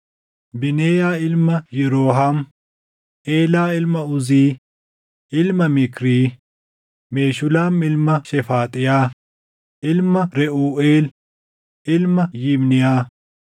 Bineeyaa ilma Yirooham; Eelaa ilma Uzii, ilma Mikrii; Meshulaam ilma Shefaaxiyaa, ilmaa Reʼuuʼeel, ilma Yibniyaa.